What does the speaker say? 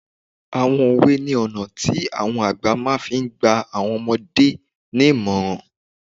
Àwọn òwe ní ọ̀nà tí àwọn àgbà máa fi n gba àwọn ọmọdé nímọ̀ràn